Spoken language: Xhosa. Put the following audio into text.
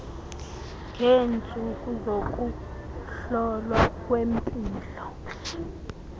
ngeentsuku zokuhlolwa kwempilo